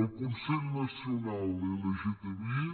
el consell nacional lgtbi